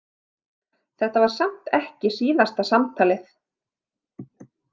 Þetta var samt ekki síðasta samtalið.